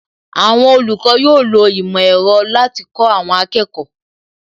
Àwọn olùkọ́ yóò lo ìmò ẹ̀rọ láti kó àwọn akẹ́kọ̀ọ́